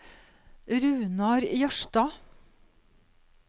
Runar Jørstad